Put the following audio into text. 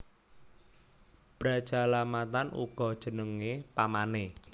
Brajalamatan uga jenengé pamané